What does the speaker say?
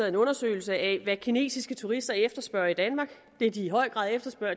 en undersøgelse af hvad kinesiske turister efterspørger i danmark det de i høj grad efterspørger